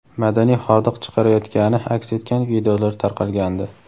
madaniy hordiq chiqarayotgani aks etgan videolar tarqalgandi.